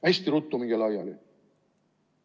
Hästi ruttu minge laiali!